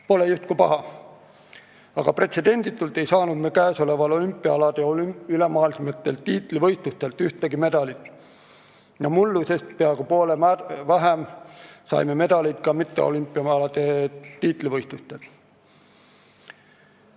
Pole justkui paha, aga pretsedenditult ei saanud me käesoleval aastal olümpiaalade ülemaailmsetelt tiitlivõistlustelt ühtegi medalit ja mullusest peaaegu poole vähem medaleid saime ka mitteolümpiaalade tiitlivõistlustelt.